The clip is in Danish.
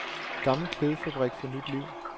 Gammel klædefabrik får nyt liv.